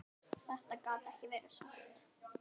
Þetta gat ekki verið satt.